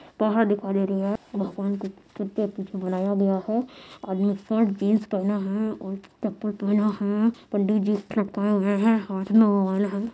पहाड़ दिखाई दे रही है भगवान को बनाया गया है आदमी शर्ट जीन्स पहना है और चप्पल पहना है पंडित जी हाथ में मोबाइल है।